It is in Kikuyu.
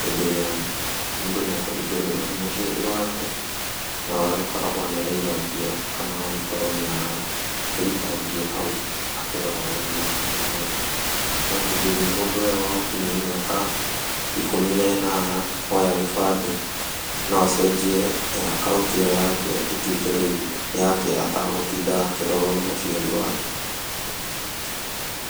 Hĩndĩ ĩrĩa mũndũ nĩekũhingũrĩrwo nĩ mũciari wake na agagĩkoragwo nĩ araiga mbia kana agagĩkorwo nĩarakĩruta mbia hau akĩroragwo nĩ mũciari wake. No hĩndĩ ĩrĩa mũndũ egũkinyia mĩaka ikũmi na ĩnana oya gĩbandĩ no acenjie akaũnti ĩyo yake ĩtuĩke rĩu yake atagũtinda rĩu akĩrorwo nĩ mũciari wake.